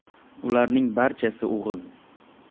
Ularning barchasi o‘g‘il.